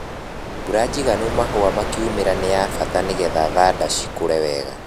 Mbura njigano mahũa makiumĩra nĩ ya bata nĩgetha thanda cikũre wega.